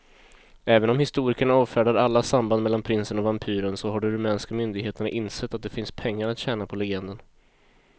Även om historikerna avfärdar alla samband mellan prinsen och vampyren så har de rumänska myndigheterna insett att det finns pengar att tjäna på legenden.